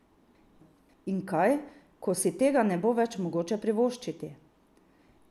In kaj, ko si tega ne bo več mogoče privoščiti?